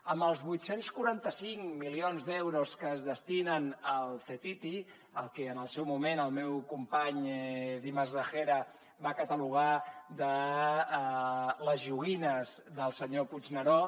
amb els vuit cents i quaranta cinc milions d’euros que es destinen al ctti el que en el seu moment el meu company dimas gragera va catalogar de les joguines del senyor puigneró